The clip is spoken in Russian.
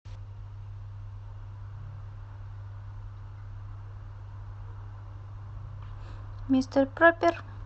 мистер пропер